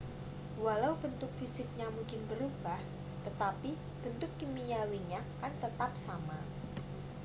walau bentuk fisiknya mungkin berubah tetapi bentuk kimiawinya kan tetap sama